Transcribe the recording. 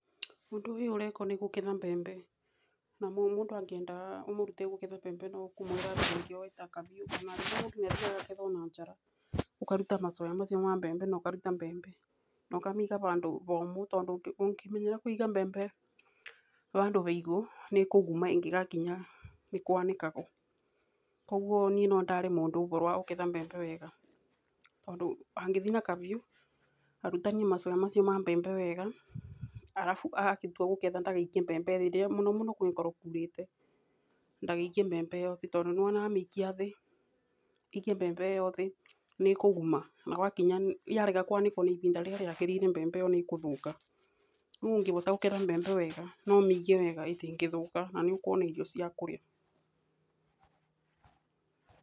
Ũndũ ũyũ ũrekwo nĩkũgetha mbembe, na mũndũ angĩenda ũmũrutĩre kũgetha mbembe no kũmwĩra ningĩ oke na kahiũ ona mũndũ noakethe na njara ũkaruta macoya macio ma mbembe na ũkaruta mbembe na ũkamiga handũ homũ tondũ ũkĩmenyeria kũiga mbembe handũ haigũ nĩkũguma ĩngĩgakinya nĩkwanĩkaguo, kwoguo niĩ nondare mũndũ ũhoro wa kũgetha mbembe wega tondũ angĩthii na kahiũ arutanie macoya macio ma mbembe wega arafu atua angĩtua kũgetha ndakaikie mbembe thĩ angikorwo kũrĩte ndagaikie mbembe ĩyo thĩ no wona amĩikia thĩ, aikia mbembe thĩ nĩkũguma na yarega kwanĩkwa na ihinda rĩrĩa rĩagĩrĩire mbembe ĩyo nĩkũthũka, niĩ ndĩngĩhota gũketha mbembe wega noũmige wega na ĩtĩngĩthũka na nĩũkũona irio cia kũrĩa.